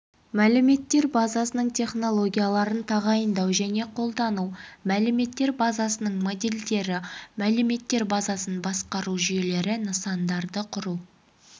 мәліметтер базасының технологияларын тағайындау және қолдану мәліметтер базасының модельдері мәліметтер базасын басқару жүйелері нысандарды құру